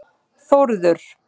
Þórður